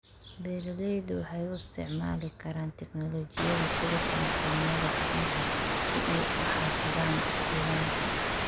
Beeraleydu waxay u isticmaali karaan tignoolajiyada sida taleefoonnada gacanta si ay u xafidaan diiwaanka.